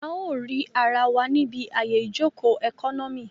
A ó rì ara wa níbi àyè ìjòkó ẹkọ́nọ́mì